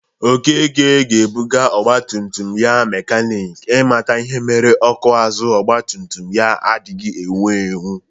Okeke ga-ebụga ọgbatumtum ya mekanik i mata ihe mere ọkụ azụ ọgbatumtum ya adịghị ewu ewu